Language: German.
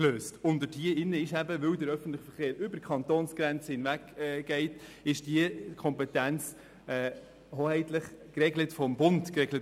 Weil der öffentliche Verkehr über die Kantonsgrenzen hinweggeht, ist diese Kompetenz hoheitlich vom Bund geregelt.